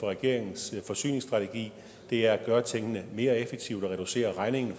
regeringens forsyningsstrategi det er at gøre tingene mere effektivt og reducere regningen